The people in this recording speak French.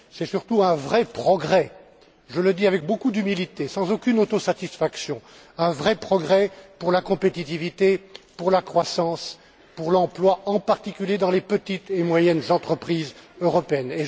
C'est surtout un vrai progrès je le dis avec beaucoup d'humilité, sans aucune autosatifaction un vrai progrès pour la compétitivité, pour la croissance, pour l'emploi, en particulier dans les petites et moyennes entreprises européennes.